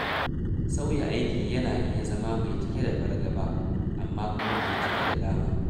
Sauya aiki yana iya zama mai cike da fargaba, amma kuma mai cike da dama.